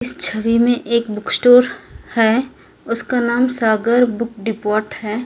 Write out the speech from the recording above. इस छवि में एक बुक स्टोर है उसका नाम सागर बुक डिपोर्ट है।